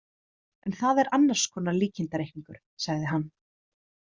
En það er annars konar líkindareikningur, sagði hann.